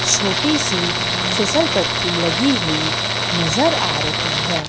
छोटी सी फिसल पट्टी लगी हुई नजर आ रही है।